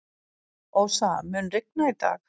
Ósa, mun rigna í dag?